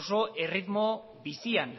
oso erritmo bizian